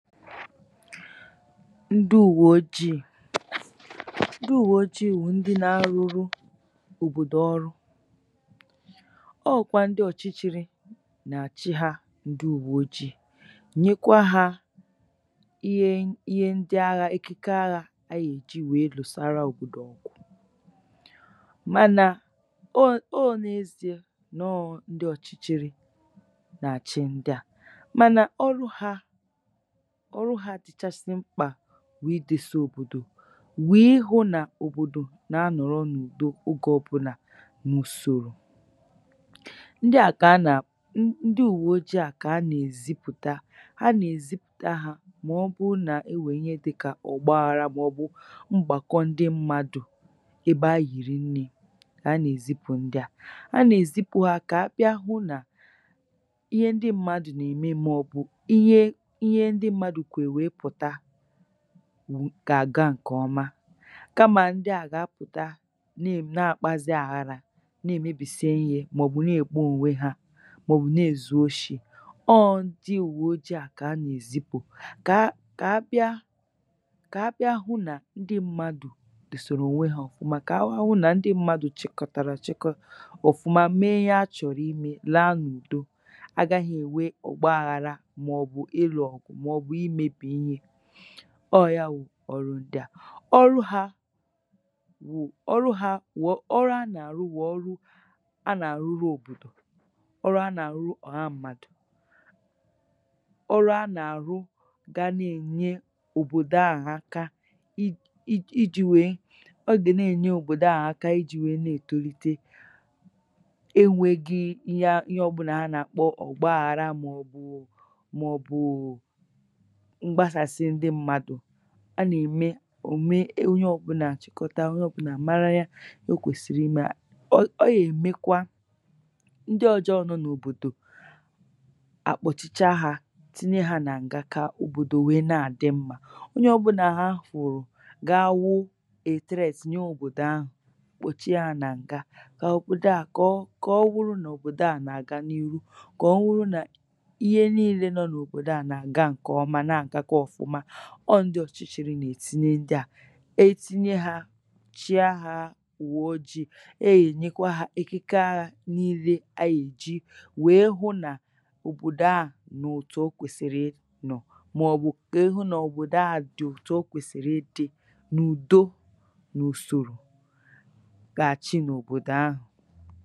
Ndụ ùwò ojii. Ndụ ùwò ojii wụ̀ ndị nā-arụrụ oòbòdò ọrụ, ọọ̄kwa ndị ọ̀chịchị̄rị̄ nà-àchị hā ndu ùwò ojii Nyekwa hā ihe ndị aghā, ekike aghā a yēji lụ̀sara òbòdò ọ̀gụ̀ Mànà ọ n’ezīē nọọ̄ ndị ọ̀chịchị̄rị̄ nàchị ndị à mànà ọrụ hā Ọrụ hā dịchasị mkpà bụ̀ ịdēsā òbòdò wụ̀ ịhụ̄ n’ òbòdò nà-anọ̀rọ n’ùdo ogē ọ̀bụnà n’ùsòrò ndị à kà a nà ndị ùwo ojii à kà a nèèzipùta Ha nèzipùta hā mà ọ bụụ nà-enwè ihe dịkà ọ̀gbaghārā màọ̀bụ̀ mgbàkọ ndị mmadụ̀ ebe ahị̀rị̀ nnē kà a nèzipù ndị à, a nèzipū ha kà ha bịa hụ nà ihe ndị mmadụ̀ nème màọ̀bụ̀ ihe ndị mmadụ̀ kwè wèe pụ̀ta gàga ǹkọ̀ọma kamà ndị à gà-apụ̀ta na-àkpazị aghara ne-emēbìsi ihē mọ̀bụ̀ ne-èkpo ònwe hā mọ̀bụ̀ ne-ēzu oshī ọ ọ̄ ndị ùwo ojii à kà a nè-èzipù kà a bịa kà a bịa hụ nà ndị mmadụ̀ dòsèrè ònwe hā ọ̀hụma kà ha hụ nà ndị mmadụ̀ chị̀kọ̀tàrà àchịkọta ọ̀fụma mee ihe a chọ̀rọ̀ imē laa n’ùdo agāghị̄ ènwe ọ̀gbaghārā mọ̀bụ̀ ịlụ̀ ọ̀gụ̀ mọ̀bụ̀ imēbì ihe ọọ̄ ya wụ̀ ọrụ ndị à. Ọrụ hā wụ̀, ọrụ ha nà-àrụ wụ̀ ọrụ a nà-àrụrụ òbòdò, ọrụ a nà-àrụrụ ọ̀ha mmadụ̀, ọrụ a nàrụ ga na-ènye òbòdò a aka ijī wèe ọ gà na-ènye òbòdò aà aka ijī wèe ne-ètolite enwēgī ihe ọ̀bụlà ha nàkpọ ọ̀gbaghārā mọ̀bụ̀ mọ̀bụ̀ụ̀ mgbasàsị ndị mmadụ̀ A nème ò mee onye ọ̀bụlà àchịkọta, onye ọ̀bụlà à mara o kwèsìrì ịmā, ọ yèmekwa ndị ọjọọ̄ nọ n’òbòdò àkpọ̀chicha hā tinye hā nà ǹga kà òbòdò wèe na-àdị mmā, onye ọ̀bụlà ha hụ̀rụ̀ gawụ 'a threat' nye òbòdò ahụ̀ kpòchie hā nà ǹga kà òbòdò aà kọ̀ ọwụrụ nà òbòdò aà nàga n’ihu kà ọwụrụ nà iye niilē nọ n’òbòdò a nàga ǹkọ̀ọma na àgakwa ọ̀fụma, ọọ̀ ndị ọ̀chịchịrị nè-etinye ndị à Etinye hā chịa hā ùwòojii e yēnyekwa hā ekike aghā nilē a yèji wèe hụ nà òbòdò aà nọ̀ ètù o kwèsìrì ịnọ̀ mọ̀bụ̀ ịhụ̄ nà òbòdò aà dị̀ ètù o kwèsìrì ịdị̄ n’ùdo nùsòrò gàchị n’òbòdò ahụ̀